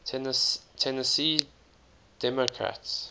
tennessee democrats